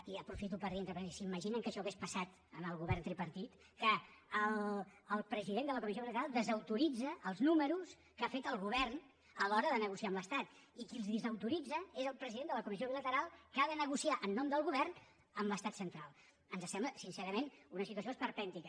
i aprofito per dir entre parèntesis s’imaginen que això hagués passat en el govern tripartit que el president de la comissió bilateral desautoritza els números que ha fet el govern a l’hora de negociar amb l’estat i qui els desautoritza és el president de la comissió bilateral que ha de negociar en nom del govern amb l’estat central ens sembla sincerament una situació esperpèntica